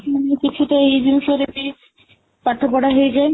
ହୁଁ କିଛି ତ ଏଇ ଜିଣିଷରେ ବି ପାଠପଢା ହେଇଯାଏ